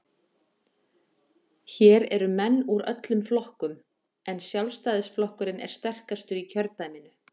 Hér eru menn úr öllum flokkum, en Sjálfstæðisflokkurinn er sterkastur í kjördæminu.